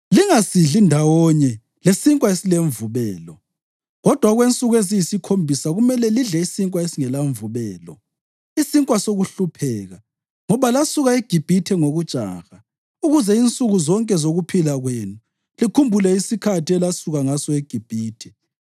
Lingasidli ndawonye lesinkwa esilemvubelo, kodwa okwensuku eziyisikhombisa kumele lidle isinkwa esingelamvubelo, isinkwa sokuhlupheka, ngoba lasuka eGibhithe ngokujaha ukuze insuku zonke zokuphila kwenu likhumbule isikhathi elasuka ngaso eGibhithe.